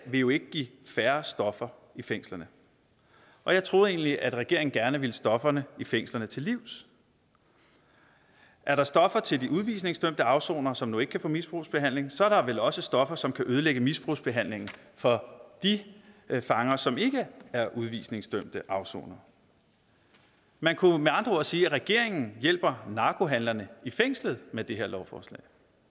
vil jo ikke give færre stoffer i fængslerne og jeg troede egentlig at regeringen gerne ville stofferne i fængslerne til livs er der stoffer til de udvisningsdømte afsonere som jo ikke kan få misbrugsbehandling så er der vel også stoffer som kan ødelægge misbrugsbehandlingen for de fanger som ikke er udvisningsdømte afsonere man kunne med andre ord sige at regeringen hjælper narkohandlerne i fængslet med det her lovforslag